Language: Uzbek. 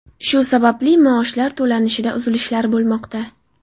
Shu sababli maoshlar to‘lanishida uzilishlar bo‘lmoqda.